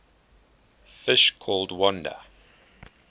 fish called wanda